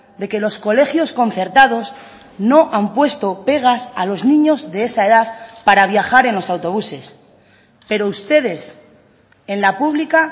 de que los colegios concertados no han puesto pegas a los niños de esa edad para viajar en los autobuses pero ustedes en la pública